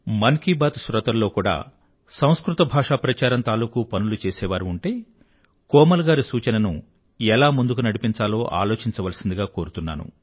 మనసులో మాట శ్రోతలలో కూడా సంస్కృత భాషా ప్రచారం తాలూకూ పనులు చేసేవారు ఉంటే కోమల్ గారి సూచనను ఎలా ముందుకు నడిపించాలో అలోచించవలసిందిగా కోరుతున్నాను